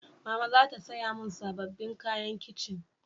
Mama za ta saya mun sabobbin kayan kitchen